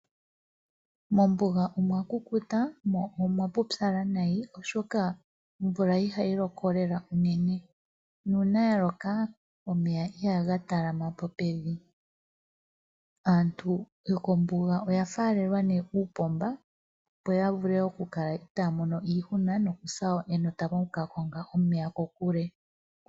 Mombuga omwakukuta mo omwapupyala nayi oshoka omvula ihayi loko lela unene nuuna ya loka omeya ihaga talamapo pevi. Aantu yokombuga oyafaalelwa uupomba opo yavule okukala itaya mono iihuna Yokusa enota oku ka konga omeya kokule.